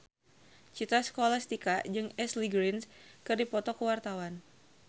Citra Scholastika jeung Ashley Greene keur dipoto ku wartawan